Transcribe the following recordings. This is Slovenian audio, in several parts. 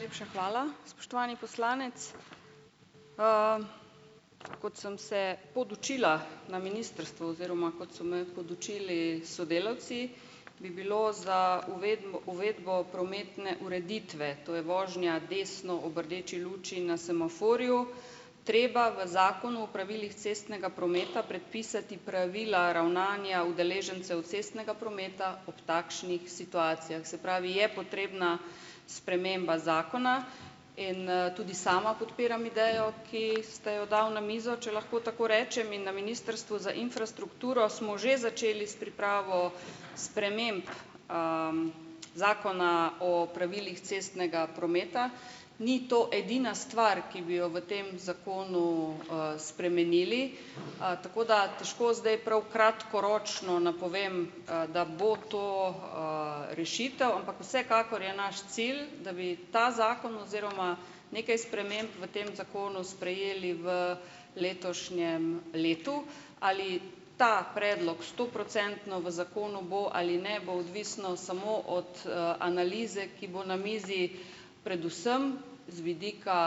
Najlepša hvala, spoštovani poslanec. Kot sem se podučila na ministrstvu oziroma kot so me podučili sodelavci, bi bilo za uvedbo prometne ureditve, to je vožnja desno ob rdeči luči na semaforju, treba v Zakonu o pravilih cestnega prometa predpisati pravila ravnanja udeležencev cestnega prometa ob takšnih situacijah. Se pravi, je potrebna sprememba zakona in, tudi sama podpiram idejo, ki ste jo dal na mizo, če lahko tako rečem in na Ministrstvu za infrastrukturo smo že začeli s pripravo sprememb, Zakona o pravilih cestnega prometa. Ni to edina stvar, ki bi jo v tem zakonu, spremenili, tako da težko zdaj prav kratkoročno napovem, da bo to, rešitev, ampak vsekakor je naš cilj, da bi ta zakon oziroma nekaj sprememb v tem zakonu, sprejeli v letošnjem letu. Ali ta predlog stoprocentno v zakonu bo ali ne, bo odvisno samo od, analize, ki bo na mizi predvsem z vidika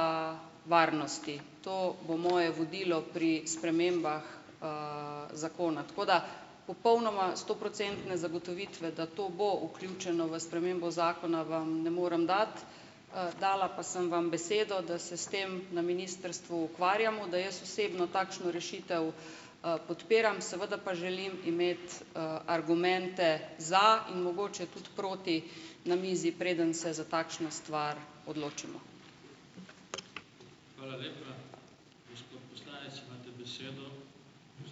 varnosti. To bo moje vodilo pri spremembah, zakona. Tako da popolnoma stoprocentne zagotovitve, da to bo vključeno v spremembo zakona vam ne moram dati, dala pa sem vam besedo, da se s tem na ministrstvu ukvarjamo, da jaz osebno takšno rešitev, podpiram, seveda pa želim imeti, argumente za in mogoče tudi proti na mizi, preden se za takšno stvar odločimo.